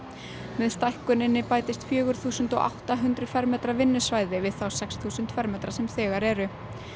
með stækkuninni bætist fjögur þúsund átta hundruð fermetra vinnusvæði við þá sex þúsund fermetra sem þegar eru